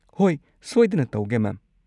ꯍꯣꯏ, ꯁꯣꯏꯗꯅ ꯇꯧꯒꯦ ꯃꯦꯝ꯫